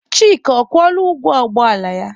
Chika, ọ kwụọla ụgwọ ụgbọ ala ya?